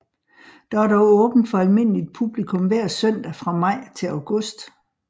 Der er dog åbent for almindeligt publikum hver søndag fra maj til august